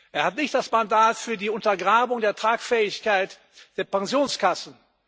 Er hat nicht das Mandat für die Untergrabung der Tragfähigkeit der Pensionskassen.